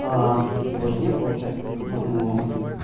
к его жене получается